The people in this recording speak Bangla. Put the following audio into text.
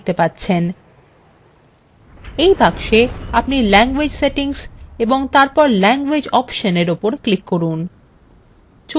in box আপনি language settings এবং তারপর languages option –এর ওপর click করুন